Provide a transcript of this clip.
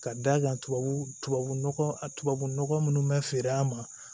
Ka d'a kan tubabu tubabu nɔgɔ a tubabunɔgɔ minnu bɛ feere a ma